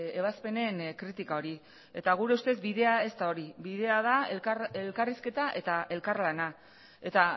ebazpenen kritika hori eta gure ustez bidea ez da hori bidea da elkarrizketa eta elkarlana eta